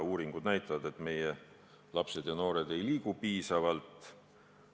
Uuringud näitavad, et meie lapsed ja noored ei liigu piisavalt.